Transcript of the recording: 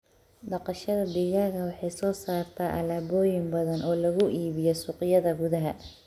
Dhaqashada digaaga waxay soo saartaa alaabooyin badan oo lagu iibiyo suuqyada gudaha.